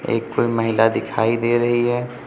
एक कोई महिला दिखाई दे रही है।